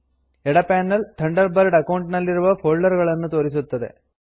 ಎಡ panel Thunderbird account ನಲ್ಲಿರುವ ಫೋಲ್ಡರ್ಗಳನ್ನು ತೋರಿಸುತ್ತದೆ